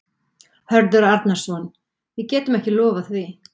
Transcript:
Hörður Arnarson: Við getum ekki lofað því?